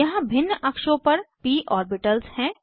यहाँ भिन्न अक्षों पर प ओर्बिटल्स हैं